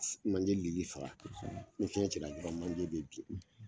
Lili faga ni fiɲɛ cila dɔrɔn bɛ bi